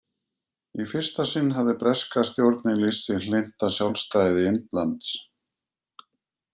Í fyrsta sinn hafði breska stjórnin lýst sig hlynnta sjálfstæði Indlands.